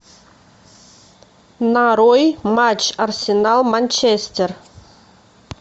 нарой матч арсенал манчестер